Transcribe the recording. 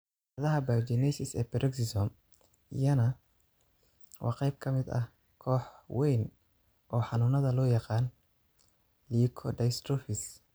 Cilladaha biogenesis ee Peroxisome, iyana, waa qayb ka mid ah koox wayn oo xanuunada loo yaqaan leukodystrophies.